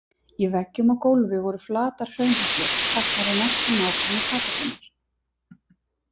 Í veggjum og gólfi voru flatar hraunhellur teknar úr næsta nágrenni kapellunnar.